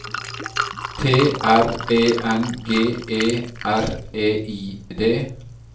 T R E N G E R E I D